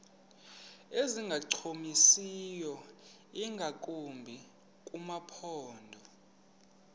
ezingancumisiyo ingakumbi kumaphondo